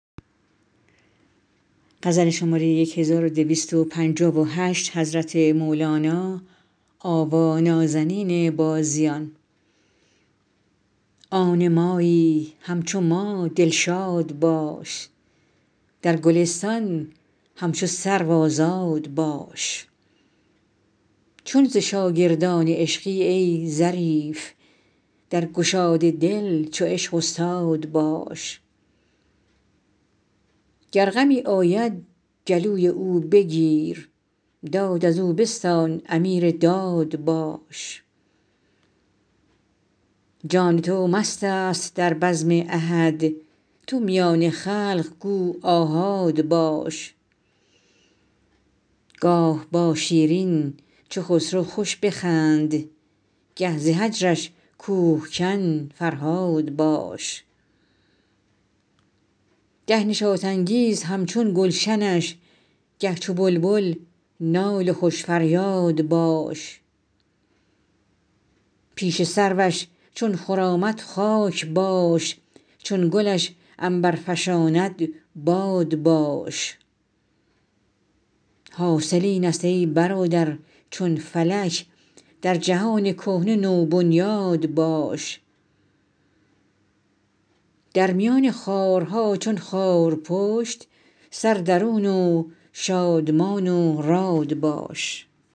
آن مایی همچو ما دلشاد باش در گلستان همچو سرو آزاد باش چون ز شاگردان عشقی ای ظریف در گشاد دل چو عشق استاد باش گر غمی آید گلوی او بگیر داد از او بستان امیر داد باش جان تو مست است در بزم احد تن میان خلق گو آحاد باش گاه با شیرین چو خسرو خوش بخند گه ز هجرش کوه کن فرهاد باش گه نشاط انگیز همچون گلشنش گه چو بلبل نال و خوش فریاد باش پیش سروش چون خرامد خاک باش چون گلش عنبر فشاند باد باش حاصل اینست ای برادر چون فلک در جهان کهنه نوبنیاد باش در میان خارها چون خارپشت سر درون و شادمان و راد باش